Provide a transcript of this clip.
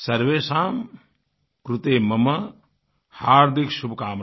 सर्वेषां कृते मम हार्दिकशुभकामना